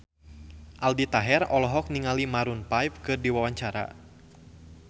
Aldi Taher olohok ningali Maroon 5 keur diwawancara